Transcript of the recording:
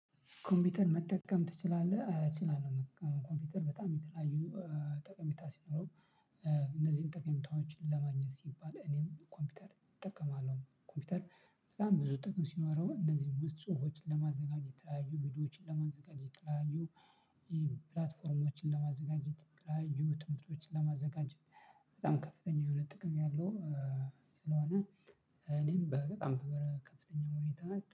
ኮምፒውተር መጠቀም ትችላለህ? እችላለሁ ኮምፒውተር በጣም የተለያዩ ጠቀሜታ ሲኖረው። እነዚህን ጠቀሜታዎችን ለማግኘት ሲባል እኔም ኮምፒውተር እጠቀማለሁ። ኮምፒውተር በጣም ብዙ ጠቀሜታ ሲኖረው። እንደዚሁም ውስጥ ጽሁፎችን ለማዘጋጀት የተለያዩ ቪዲዮዎችን ለማዘጋጀት የተለያዩ ፕላትፎርሞችን ለማዘጋጀት የተለያዩ ትምህርቶችን ለማዘጋጀት በጣም ከፍተኛ የሆነ ጥቅም ያለው። ስለሆነ እኔም በጣም በከፍተኛ ሁኔታ